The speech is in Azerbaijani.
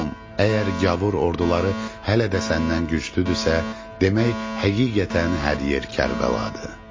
Əgər gavur orduları hələ də səndən güclüdürsə, demək həqiqətən hər yer Kərbəladır.